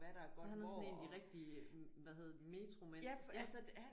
Så han er sådan en af de rigtige hvad hedder det metromænd ja